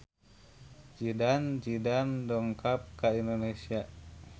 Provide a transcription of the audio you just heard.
Zidane Zidane dongkap ka Indonesia